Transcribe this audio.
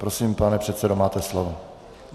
Prosím, pane předsedo, máte slovo.